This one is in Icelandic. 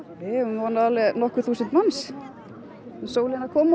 við eigum von á alveg nokkur þúsund manns sólin er að koma